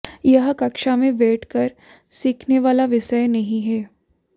यह कक्षा में बैठकर सीखने वाला विषय नहीं है